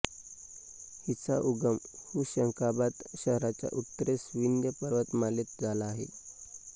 हिचा उगम हुशंगाबाद शहराच्या उत्तरेस विंध्य पर्वतमालेत झाला आहे